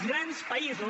els grans països